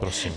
Prosím.